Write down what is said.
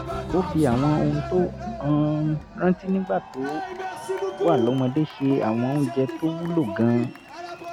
ó fi àwọn ohun tó um rántí nígbà tó wà lọ́mọdé ṣe àwọn oúnjẹ tó wúlò gan-an